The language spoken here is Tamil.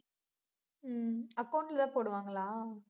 ஹம் account ல போடுவாங்களா